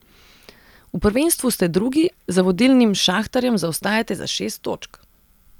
V prvenstvu ste drugi, za vodilnim Šahtarjem zaostajate za šest točk.